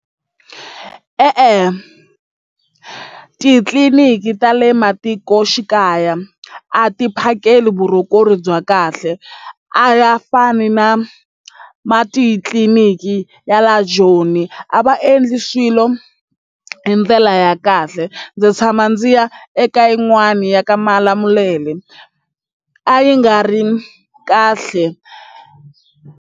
E-e, titliliniki ta le matikoxikaya a ti phakeli bya kahle a ya fani na ma titliniki ya la Joni a va endli swilo hi ndlela ya kahle ndzi tshama ndzi ya eka yin'wani ya ka Malamulele a yi nga ri kahle.